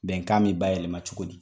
Bɛn k'a min ba yɛlɛmaɛlɛ cogo di